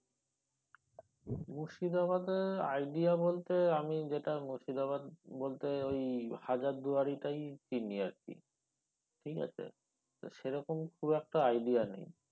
মুর্শিদাবাদের idea বলতে আমি যেটা মুর্শিদাবাদ বলতে ওই হাজারদুয়ারিটাই চিনি আর কি ঠিক আছে তো সেরকম খুব একটা idea নেই।